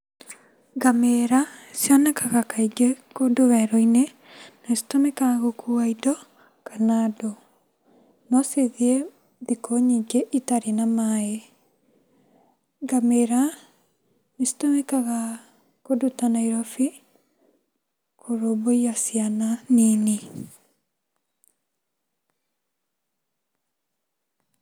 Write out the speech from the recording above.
Ngamĩra cionekaga kaingĩ kũndũ werũinĩ, na citũmĩkaga gũkua indo, kana andũ, no cithiĩ, thikũ nyingĩ itarĩ na maĩ, ngamĩra nĩcitũmĩkaga kũndũ ta Nairobi, kũrũmbũiya ciana nini.